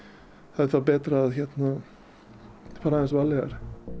er þá betra að hérna fara aðeins varlegar